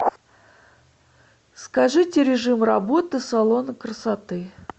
скажите режим работы салона красоты